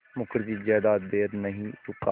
मुखर्जी ज़्यादा देर नहीं रुका